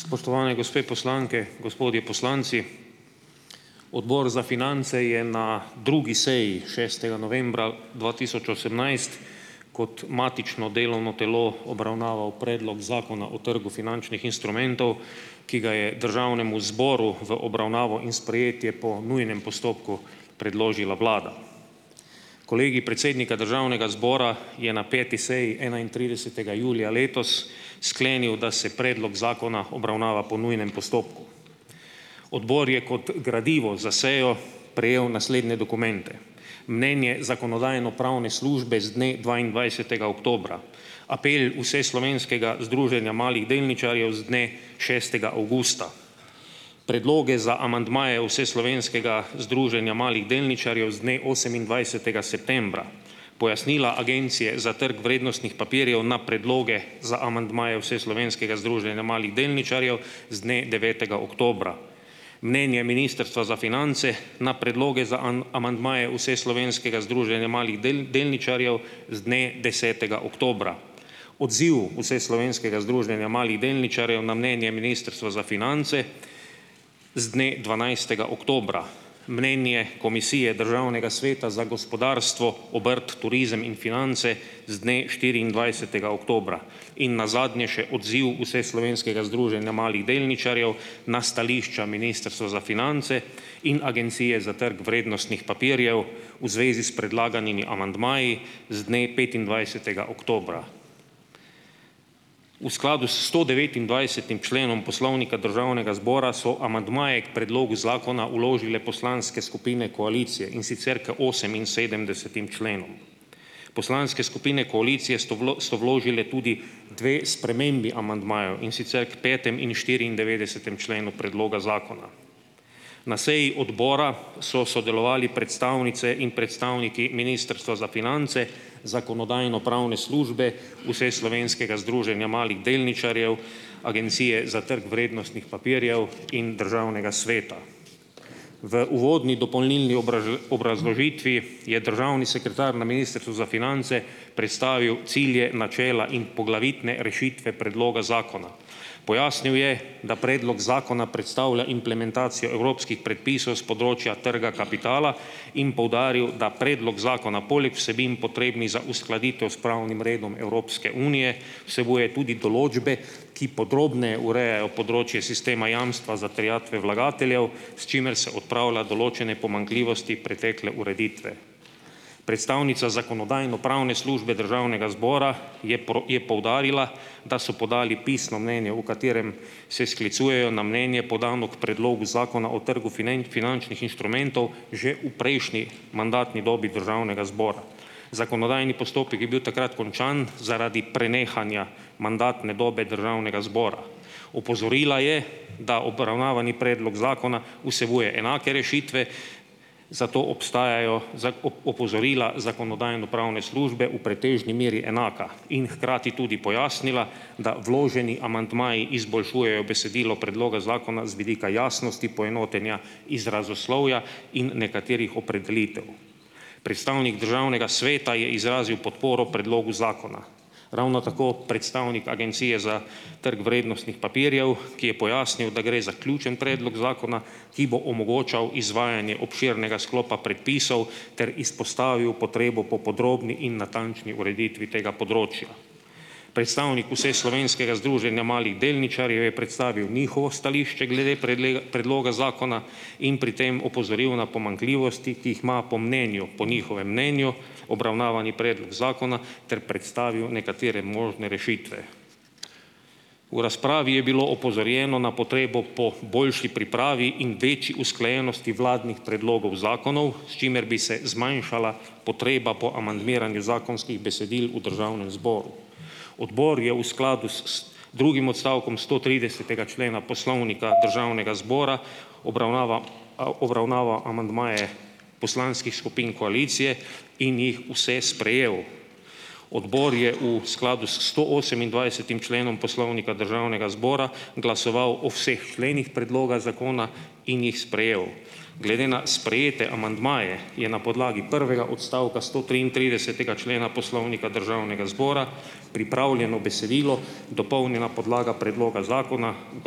Spoštovani gospe poslanke, gospodje poslanci! Odbor za finance je na drugi seji šestega novembra dva tisoč osemnajst kot matično delovno telo obravnaval Predlog Zakona o trgu finančnih instrumentov, ki ga je Državnemu zboru v obravnavo in sprejetje po nujnem postopku predložila Vlada. Kolegij predsednika Državnega zbora je na peti seji enaintridesetega julija letos sklenil, da se predlog zakona obravnava po nujnem postopku. Odbor je kot gradivo za sejo prejel naslednje dokumente: mnenje Zakonodajno-pravne službe z dne dvaindvajsetega oktobra, apel Vseslovenskega združenja malih delničarjev z dne šestega avgusta, predloge za amandmaje Vseslovenskega združenja malih delničarjev z dne osemindvajsetega septembra, pojasnila Agencije za trg vrednostnih papirjev na predloge za amandmaje Vseslovenskega združenja malih delničarjev z dne devetega oktobra, mnenje Ministrstva za finance na predloge za amandmaje Vseslovenskega združenja malih delničarjev z dne desetega oktobra, odziv Vseslovenskega združenja malih delničarjev na mnenje Ministrstva za finance z dne dvanajstega oktobra, mnenje Komisije državnega sveta za gospodarstvo, obrt, turizem in finance z dne štiriindvajsetega oktobra in nazadnje še odziv Vseslovenskega združenja malih delničarjev na stališča Ministrstva za finance in Agencije za trg vrednostnih papirjev v zvezi s predlaganimi amandmaji z dne petindvajsetega oktobra. V skladu s sto devetindvajsetim členom Poslovnika Državnega zbora so amandmaje k predlogu zakona vložile poslanske skupine koalicije, in sicer k oseminsedemdesetim členom. Poslanske skupine koalicije sto vlo sto vložile tudi dve spremembi amandmajev, in sicer k petemu in štiriindevetdesetemu členu predloga zakona. Na seji odbora so sodelovali predstavnice in predstavniki Ministrstva za finance, Zakonodajno-pravne službe, Vseslovenskega združenja malih delničarjev, Agencije za trg vrednostnih papirjev in Državnega sveta. V uvodni dopolnilni obrazložitvi je državni sekretar na Ministrstvu za finance predstavil cilje, načela in poglavitne rešitve predloga zakona. Pojasnil je, da predlog zakona predstavlja implementacijo evropskih predpisov s področja trga kapitala in poudaril, da predlog zakona poleg vsebin, potrebnih za uskladitev s pravnim redom Evropske unije, vsebuje tudi določbe, ki podrobneje urejajo področje sistema jamstva za terjatve vlagateljev, s čimer se odpravlja določene pomanjkljivosti pretekle ureditve. Predstavnica Zakonodajno-pravne službe Državnega zbora je pro je poudarila, da so podali pisno mnenje, v katerem se sklicujejo na mnenje, podano k predlogu zakona o trgu finančnih inštrumentov že v prejšnji mandatni dobi Državnega zbora. Zakonodajni postopek je bil takrat končan zaradi prenehanja mandatne dobe Državnega zbora. Opozorila je, da obravnavani predlog zakona vsebuje enake rešitve, zato obstajajo za o o opozorila Zakonodajno-pravne službe v pretežni meri enaka, in hkrati tudi pojasnila, da vloženi amandmaji izboljšujejo besedilo predloga zakona z vidika jasnosti poenotenja izrazoslovja in nekaterih opredelitev. Predstavnik Državnega sveta je izrazil podporo predlogu zakona. Ravno tako predstavnik Agencije za trg vrednostnih papirjev, ki je pojasnil, da gre za ključni predlog zakona, ki bo omogočal izvajanje obširnega sklopa predpisov, ter izpostavil potrebo po podrobni in natančni ureditvi tega področja. Predstavnik Vseslovenskega združenja malih delničarjev je predstavil njihovo stališče glede predloga predloga zakona in pri tem opozoril na pomanjkljivosti, ki jih ima po mnenju, po njihovem mnenju, obravnavani predlog zakona ter predstavil nekatere možne rešitve. V razpravi je bilo opozorjeno na potrebo po boljši pripravi in večji usklajenosti vladnih predlogov zakonov, s čimer bi se zmanjšala potreba po amandmiranju zakonskih besedil v Državnem zboru. Odbor je v skladu s z drugim odstavkom stotridesetega člena Poslovnika Državnega zbora obravnava al obravnava amandmaje poslanskih skupin koalicije in jih vse sprejel. Odbor je v skladu s stoosemindvajsetim členom Poslovnika Državnega zbora glasoval o vseh členih predloga zakona in jih sprejel. Glede na sprejete amandmaje je na podlagi prvega odstavka stotriintridesetega člena Poslovnika Državnega zbora pripravljeno besedilo dopolnjena podlaga predloga zakona, v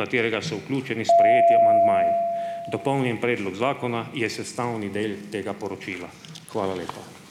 katerega so vključeni sprejeti amandmaji. Dopolnjen predlog zakona je sestavni del tega poročila. Hvala lepa.